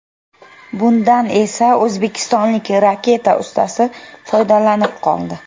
Bundan esa o‘zbekistonlik raketka ustasi foydalanib qoldi.